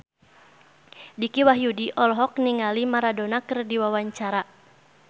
Dicky Wahyudi olohok ningali Maradona keur diwawancara